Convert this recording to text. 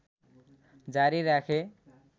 जारी राखे